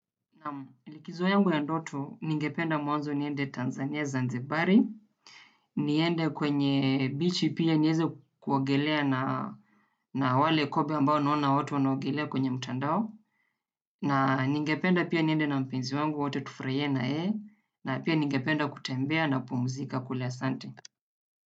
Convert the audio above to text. Naam likizo yangu ya ndoto, ningependa mwanzo niende Tanzania Zanzibari. Niende kwenye bichi pia nieze kuogelea na wale kobe ambao naona watu wanaogelea kwenye mtandao. Na ningependa pia niende na mpenzi wangu wote tufurahie na yeye. Na pia ningependa kutembea na kupumzika kule asante.